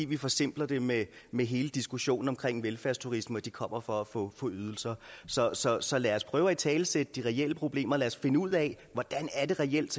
vi forsimpler det med med hele diskussionen omkring velfærdsturisme og at de kommer for at få ydelser så så lad os prøve at italesætte de reelle problemer lad os finde ud af hvordan det reelt